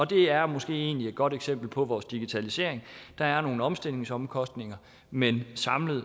det er måske egentlig et godt eksempel på vores digitalisering der er nogle omstillingsomkostninger men samlet